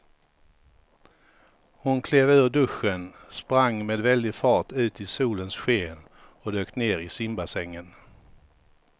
Hon klev ur duschen, sprang med väldig fart ut i solens sken och dök ner i simbassängen.